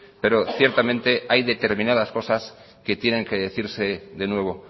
pero ciertamente hay determinadas cosas que tienen que decirse de nuevo